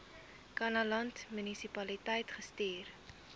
kannaland munisipaliteit gestuur